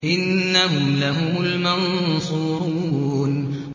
إِنَّهُمْ لَهُمُ الْمَنصُورُونَ